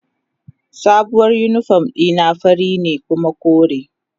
Sabuwar uniform dina fari ne kuma kore.